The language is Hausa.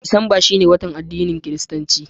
Disamba shi ne watan bikin addinin kiristanci.